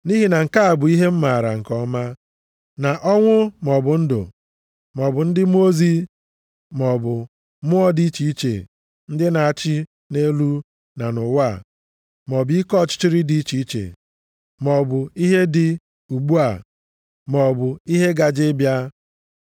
Nʼihi na nke a bụ ihe m maara nke ọma, na ọnwụ, maọbụ ndụ, maọbụ ndị mmụọ ozi, maọbụ mmụọ dị iche iche ndị na-achị nʼelu na nʼụwa, maọbụ ike ọchịchịrị dị iche iche, maọbụ ihe dị ugbu a, maọbụ ihe gaje ịbịa,